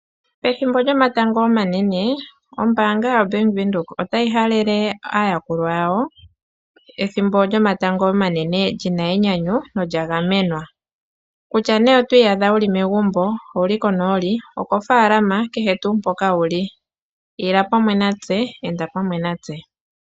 Pethimbo lyomatango omanene, ombaanga yoBank Windhoek otayi halele aayakulwa yawo, ethimbo lyomatango omanene lina enyanyu nolya gamenwa, kutya nee oto iyadha wuli megumbo, owuli konooli, okofaalama kehe tuu mpoka wuli, ila pamwe natse, enda pamwe natse.